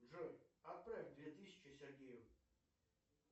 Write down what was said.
джой отправь две тысячи сергею